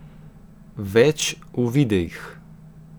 Več v videih!